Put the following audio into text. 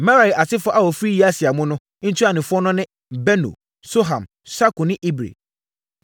Merari asefoɔ a wɔfiri Yasia mu no, ntuanofoɔ no ne: Beno, Soham, Sakur ne Ibri.